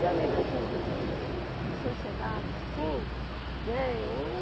E a nível assim de de sociedade, sim. Né, eu